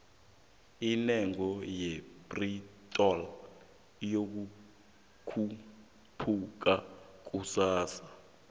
indengo ye pitrol iyokhupuka kusasa